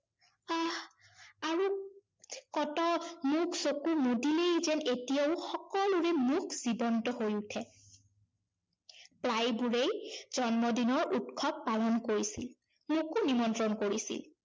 কত মুখ চকু মুদিলেই যেন এতিয়াও সকলোৰে মুখ জীৱন্ত হৈ উঠে। প্ৰায়বোৰেই জন্মদিনৰ উৎসৱ পালন কৰিছিল। মোকো নিমন্ত্ৰণ কৰিছিল।